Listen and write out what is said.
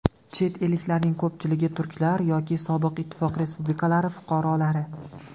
Chet elliklarning ko‘pchiligi turklar yoki sobiq ittifoq respublikalari fuqarolari.